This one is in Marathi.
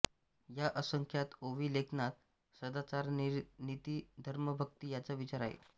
या असंख्यात ओवी लेखनात सदाचारनीतीधर्मभक्ति याचा विचार आहे